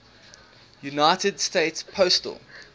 united states postal